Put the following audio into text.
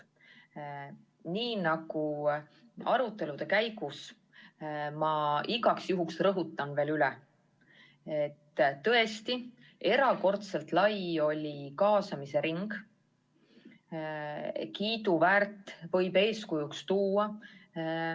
Nii nagu arutelude käigus, rõhutan igaks juhuks veel üle, et kaasamisring oli tõesti erakordselt lai – kiiduväärt, võib eeskujuks tuua.